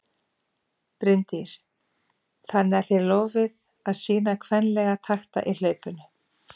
Bryndís: Þannig að þið lofið að sýna kvenlega takta í hlaupinu?